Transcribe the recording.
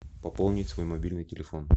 пополнить свой мобильный телефон